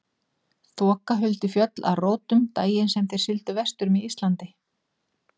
Þoka huldi fjöll að rótum daginn sem þeir sigldu vestur með Íslandi.